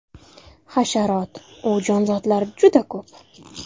Hasharot-u jonzotlar juda ko‘p.